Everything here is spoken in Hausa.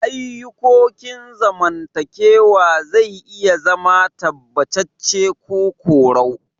Ayukokin zamantakewa zai iya zama tabbatace ko korau.